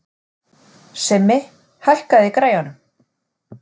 Simmi, hækkaðu í græjunum.